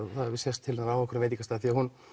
það hefði sést til hennar á einhverjum veitingastað því hún